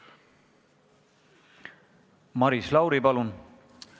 Maris Lauri, palun!